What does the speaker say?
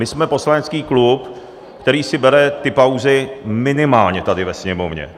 My jsme poslanecký klub, který si bere ty pauzy minimálně tady ve Sněmovně.